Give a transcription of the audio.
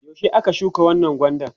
yaushe aka shuka wannan gwandan?